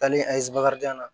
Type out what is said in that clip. Taalen an ye bakarijan na